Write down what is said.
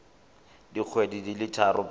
dikgwedi di le tharo pele